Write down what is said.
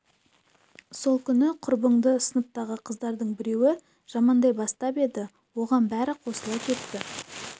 сол күні құрбыңды сыныптағы қыздардың біреуі жамандай бастап еді оған бәрі қосыла кетті